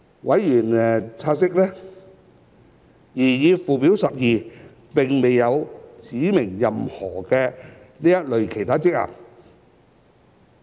委員察悉，擬議附表12並未有指明任何這類其他職能。